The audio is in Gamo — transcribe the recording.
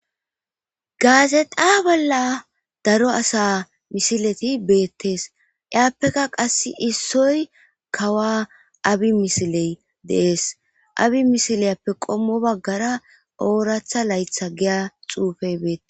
gaazexa bolla daro asa misileti beettees iyaappeka qass issoy kawa abi misiley deees abi misiliyappe qommo baggara ooratha laytha giya xuufey beette